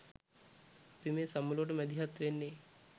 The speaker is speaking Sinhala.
අපි මේ සමුළුවට මැදිහත් වෙන්නේ